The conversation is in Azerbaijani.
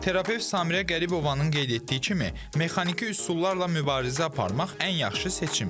Terapevt Samirə Qəribova qeyd etdiyi kimi, mexaniki üsullarla mübarizə aparmaq ən yaxşı seçimdir.